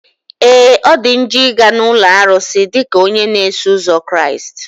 Ee! Ọ dị njọ ị ga na ụlọ arụsị dịka onye na-eso ụzọ Kraịst.